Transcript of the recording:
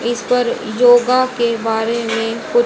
इस पर योगा के बारे में कु--